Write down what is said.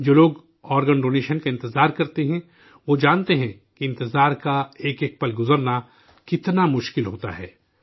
جو لوگ، organ donation کا انتظار کرتے ہیں، وہ جانتے ہیں کہ انتظار کا ایک ایک لمحہ گزرنا کتنا مشکل ہوتا ہے